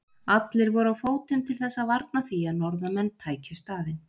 Allir voru á fótum til þess að varna því að norðanmenn tækju staðinn.